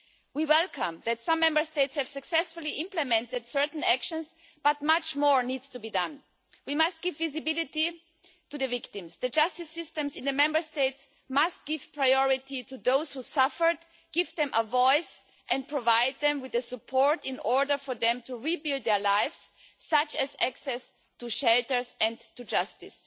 We welcome that some Member States have successfully implemented certain actions, but much more needs to be done. We must give visibility to the victims. The justice systems in the Member States must give priority to those who suffered, give them a voice and provide them with the support in order for them to rebuild their lives, such as access to shelters and to justice.